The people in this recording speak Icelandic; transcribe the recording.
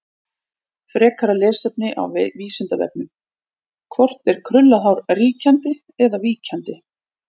Frekara lesefni á Vísindavefnum: Hvort er krullað hár ríkjandi eða víkjandi?